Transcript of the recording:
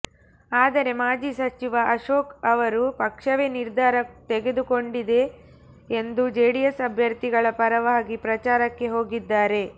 ಆದರೆ ಮಾಜಿ ಸಚಿವ ಅಶೋಕ್ ಅವರು ಪಕ್ಷವೇ ನಿರ್ಧಾರ ತೆಗೆದುಕೊಂಡಿದೆ ಎಂದು ಜೆಡಿಎಸ್ ಅಭ್ಯರ್ಥಿಗಳ ಪರವಾಗಿ ಪ್ರಚಾರಕ್ಕೆ ಹೋಗಿದ್ದಾರೆ